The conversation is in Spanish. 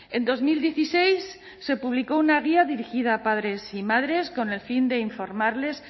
en dos mil dieciséis se publicó una guía dirigida a padres y madres con el fin de informarles